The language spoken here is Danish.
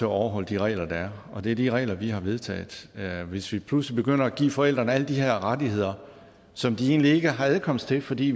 overholde de regler der er og det er de regler vi har vedtaget hvis vi pludselig begynder at give forældrene alle de her rettigheder som de egentlig ikke har adkomst til fordi